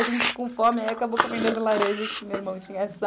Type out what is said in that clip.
A gente com fome, aí acabou comendo as laranjas que meu irmão tinha sal